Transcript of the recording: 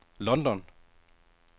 London